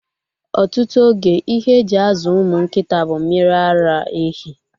Ọtụtụ oge, ihe e ji azụ ụmụ nkịta bụ mmiri ara ehi.